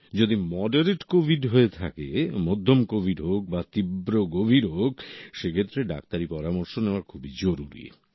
যদি moderate covid হয়ে থাকে মধ্যম কোভিড হোক বা তীব্র গভীর হোক সেক্ষেত্রে ডাক্তারি পরামর্শ নেওয়া খুবই জরুরী